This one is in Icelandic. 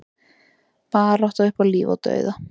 Barátta upp á líf og dauða